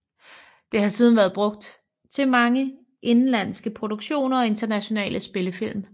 Det har siden været brugt til mange indenlandske produktioner og internationale spillefilm